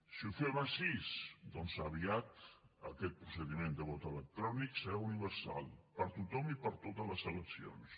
si ho fem així doncs aviat aquest procediment de vot electrònic serà universal per a tothom i per a totes les eleccions